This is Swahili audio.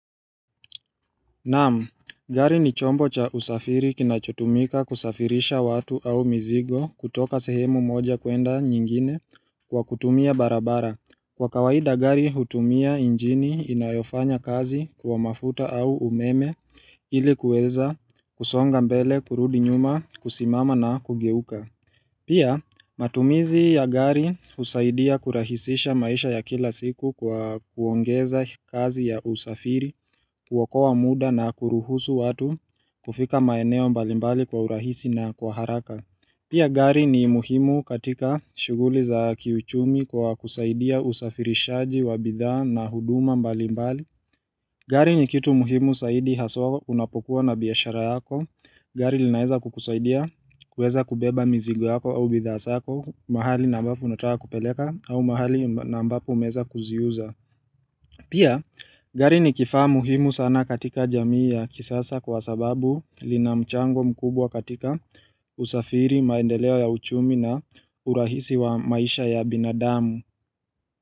Naam, gari ni chombo cha usafiri kinachotumika kusafirisha watu au mizigo kutoka sehemu moja kuenda nyingine kwa kutumia barabara. Kwa kawaida gari hutumia injini inayofanya kazi kwa mafuta au umeme ili kueza kusonga mbele kurudi nyuma kusimama na kugeuka. Pia matumizi ya gari usaidia kurahisisha maisha ya kila siku kwa kuongeza kazi ya usafiri, kuokoa muda na kuruhusu watu kufika maeneo mbalimbali kwa urahisi na kwa haraka. Pia gari ni muhimu katika shuguli za kiuchumi kwa kusaidia usafirishaji wa bidhaa na huduma mbalimbali. Gari ni kitu muhimu saidi haswa unapokuwa na biashara yako, gari linaeza kukusaidia, kueza kubeba mizigo yako au bidhaa sako, mahali na ambapo unataka kupeleka au mahali na ambapo umeeza kuziuza. Pia, gari ni kifaa muhimu sana katika jamii ya kisasa kwa sababu lina mchango mkubwa katika usafiri, maendeleo ya uchumi na urahisi wa maisha ya binadamu.